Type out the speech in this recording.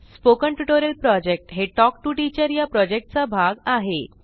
spoken tutorial project हे talk to teacher या प्रॉजेक्टचा भाग आहे